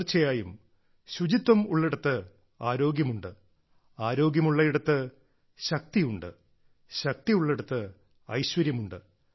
തീർച്ചയായും ശുചിത്വമുള്ളിടത്ത് ആരോഗ്യമുണ്ട് ആരോഗ്യമുള്ളിടത്ത് ശക്തിയുണ്ട് ശക്തിയുള്ളിടത്ത് ഐശ്വര്യമുണ്ട്